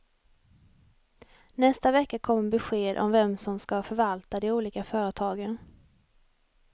Nästa vecka kommer besked om vem som ska förvalta de olika företagen.